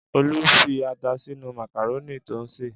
Olú fi ata sínú màkàrónì tó ń sè!